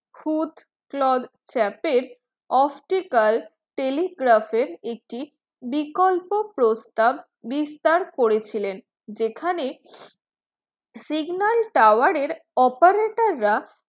foot Claude Chappe optical telegraph একটি বিকল্প প্রস্তাব বিস্তার করেছিলেন যেখানে signal tower operator রা